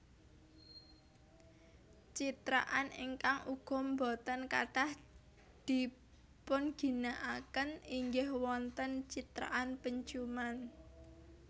Citraan ingkang uga boten katah dipunginakaken inggih wonten citraan penciuman